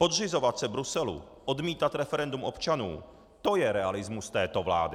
Podřizovat se Bruselu, odmítat referendum občanů, to je realismus této vlády!